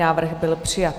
Návrh byl přijat.